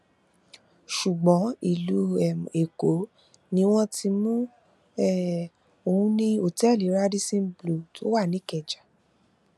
ṣùgbọn ìlú um èkó ni wọn ti mú um òun ní òtẹẹlì radisson blu tó wà ní ìkẹjà